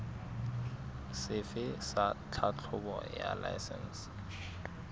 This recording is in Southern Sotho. sefe sa tlhahlobo ya laesense